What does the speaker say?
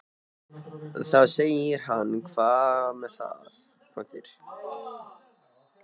Þá segir hann Hvað með það.